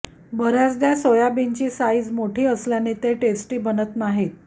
बरेचदा सोयाबीनची साईज मोठी असल्याने ते टेस्टी बनत नाहीत